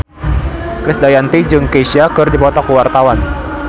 Krisdayanti jeung Kesha keur dipoto ku wartawan